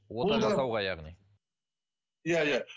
ота жасауға яғни иә иә